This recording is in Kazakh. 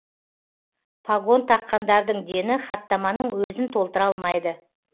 пагон таққандардың дені хаттаманың өзін толтыра алмайды